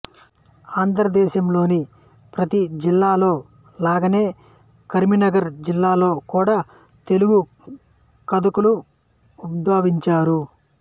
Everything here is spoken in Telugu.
ఆంధ్రదేశంలోని ప్రతీ జిల్లాలో లాగానే కరీంనగర్ జిల్లాలో కూడా తెలుగు కథకులు ఉద్భవించారు